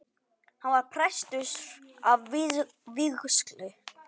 Hann var prestur að vígslu.